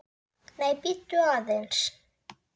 Nei, bíddu aðeins!